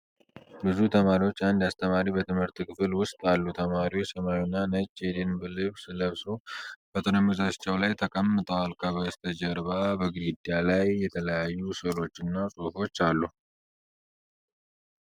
ብዙ ተማሪዎችና አንድ አስተማሪ በትምህርት ክፍል ውስጥ አሉ። ተማሪዎቹ ሰማያዊና ነጭ የደንብ ልብስ ለብሰው በጠረጴዛዎቻቸው ተቀምጠዋል። ከበስተጀርባ በግድግዳው ላይ የተለያዩ ሥዕሎችና ጽሑፎች አሉ።